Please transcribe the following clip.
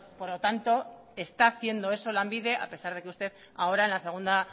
por lo tanto está haciendo eso lanbide a pesar de que usted ahora en la segunda